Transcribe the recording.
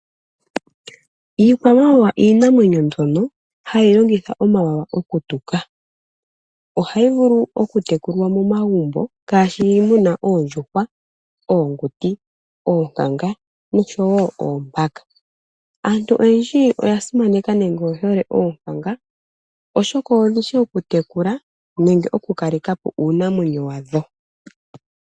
Iikwamawawa iinamwenyo mbyono hayi longitha omawawa okutuka. Ohayi vulu okutekulwa momagumbo, ngaashi oondjuhwa, oonguti, oonkanga, oombaka. Aantu oyendji oya simaneka noyehole oonkanga, oshoka odhishi okutekula, nenge okukalekapo uunimona wadho.